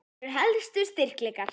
Þínir helstu styrkleikar?